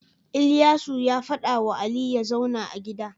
Ilyasu ya fada wa Ali yazauna a gida